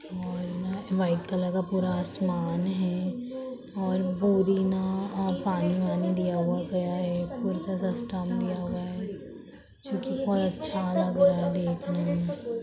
और है न और वाइट कलर का आसमान है और पुरे न पानी वानी दिया हुआ गया है पूरा सा अच्छा सिस्टम दिया हुआ है जो की बहुत अच्छा लग रहा है देखने में--